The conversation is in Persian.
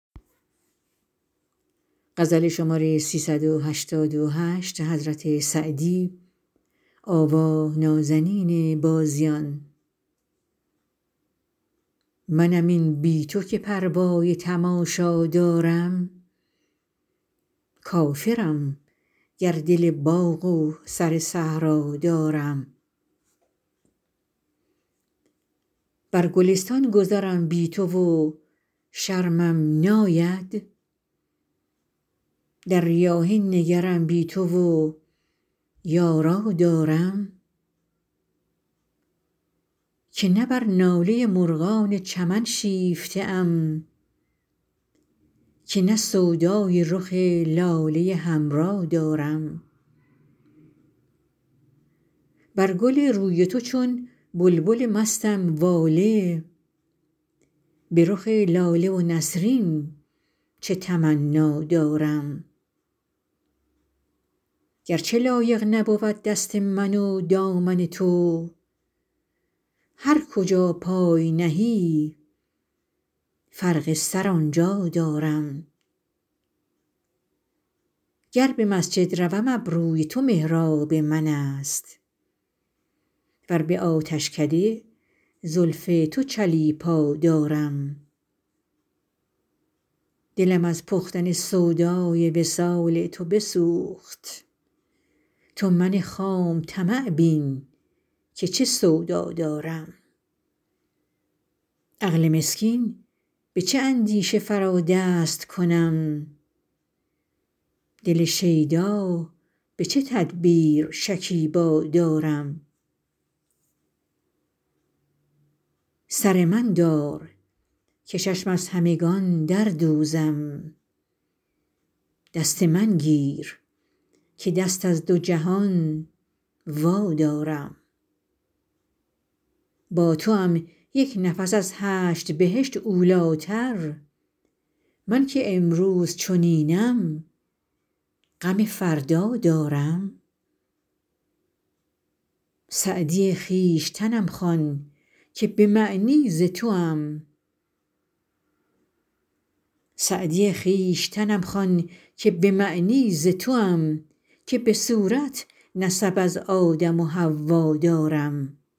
منم این بی تو که پروای تماشا دارم کافرم گر دل باغ و سر صحرا دارم بر گلستان گذرم بی تو و شرمم ناید در ریاحین نگرم بی تو و یارا دارم که نه بر ناله مرغان چمن شیفته ام که نه سودای رخ لاله حمرا دارم بر گل روی تو چون بلبل مستم واله به رخ لاله و نسرین چه تمنا دارم گر چه لایق نبود دست من و دامن تو هر کجا پای نهی فرق سر آن جا دارم گر به مسجد روم ابروی تو محراب من است ور به آتشکده زلف تو چلیپا دارم دلم از پختن سودای وصال تو بسوخت تو من خام طمع بین که چه سودا دارم عقل مسکین به چه اندیشه فرا دست کنم دل شیدا به چه تدبیر شکیبا دارم سر من دار که چشم از همگان در دوزم دست من گیر که دست از دو جهان وادارم با توام یک نفس از هشت بهشت اولی تر من که امروز چنینم غم فردا دارم سعدی خویشتنم خوان که به معنی ز توام که به صورت نسب از آدم و حوا دارم